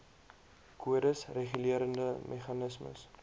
kodes regulerende meganismes